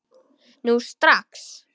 Nú strax!